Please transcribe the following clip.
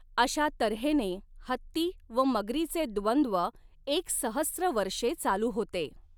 अशा तर्हेने हत्ती व मगरीचे द्वंद्व एकसहस्त्र वर्षे चालू होते.